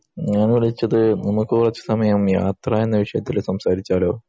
ഞാൻ വിളിച്ചത് നമുക് കുറച്ച് നേരം യാത്ര എന്ന വിഷയത്തിൽ സംസാരിച്ചാലോ